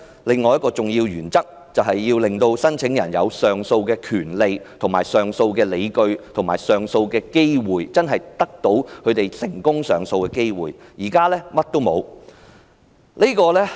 另一重要原則，就是要令到申請人有上訴的權利及理據，並且得到成功上訴的機會，但在這件事上，卻是甚麼都沒有。